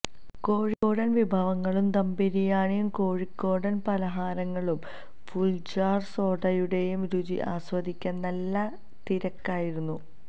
കോഴിക്കോടൻ വിഭവങ്ങളും ദംബിരിയാണിയും കോഴിക്കോടൻ പലഹാരങ്ങളും ഫുൾജാർ സോഡയുടെയും രുചി ആസ്വദിക്കാൻ നല്ല തിരക്കായിരുന്നു